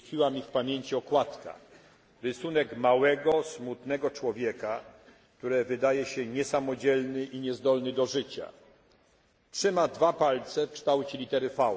Utkwiła mi w pamięci okładka rysunek małego, smutnego człowieka, który wydaje się niesamodzielny i niezdolny do życia. Trzyma dwa palce w kształcie litery V.